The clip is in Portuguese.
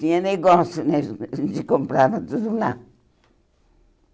Tinha negócio né, a gen a gente comprava tudo lá.